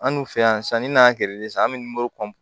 An dun fɛ yan sanni n'a an bɛ morikɔn